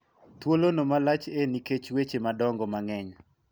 thuolo no malach e nikech weche madongo mang'eny